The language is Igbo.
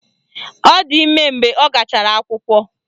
Ọ di ime mgbe ọ gachara akwụkwọ